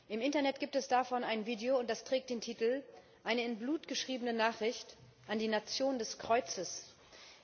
Im Internet gibt es davon ein Video, das den Titel Eine in Blut geschriebene Nachricht an die Nation des Kreuzes trägt.